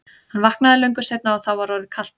Hann vaknaði löngu seinna og var þá orðið kalt.